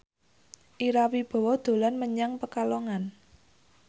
Ira Wibowo dolan menyang Pekalongan